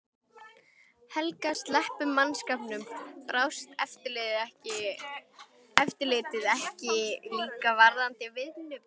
Helga: Sleppum mannskapnum. brást eftirlitið ekki líka varðandi vinnubrögð?